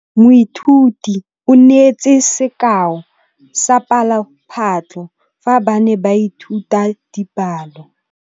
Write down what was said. Moithuti o neetse sekaô sa palophatlo fa ba ne ba ithuta dipalo.